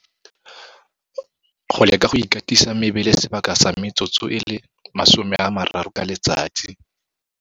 Go leka go ikatisa mebele sebaka sa metsotso e le 30 ka letsatsi.